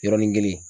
Yɔrɔnin kelen